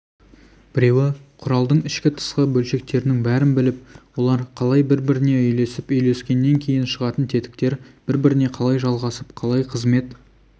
біреуі құралдың ішкі-тысқы бөлшектерінің бәрін біліп олар қалай бір-біріне үйлесіп үйлескенінен шығатын тетіктер бір-біріне қалай жалғасып қалай қызмет